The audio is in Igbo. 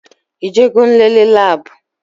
Ị je go nlele labu?